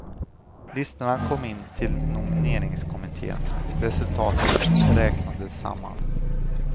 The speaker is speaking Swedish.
Listorna kom in till nomineringskommitten, resultatet räknades samman.